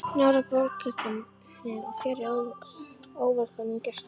Nálægt bálkestinum og fjarri óvelkomnum gestum.